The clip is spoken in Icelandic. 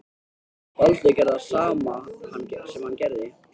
Baldur gerði það sem hann gerði.